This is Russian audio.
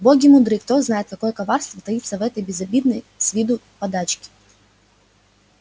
боги мудры кто знает какое коварство таится в этой безобидной с виду подачке